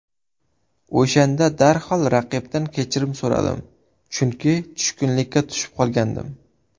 O‘shanda darhol raqibdan kechirim so‘ramadim, chunki tushkunlikka tushib qolgandim.